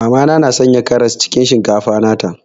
Mama na na Sanya karas cikin shinkafa nata.